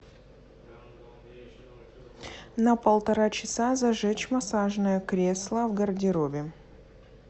на полтора часа зажечь массажное кресло в гардеробе